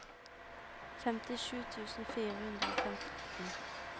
femtisju tusen fire hundre og femten